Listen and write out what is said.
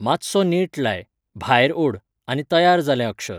मातसो नेट लाय, भायर ओड, आनी तयार जालें अक्षर.